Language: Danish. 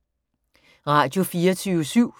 Radio24syv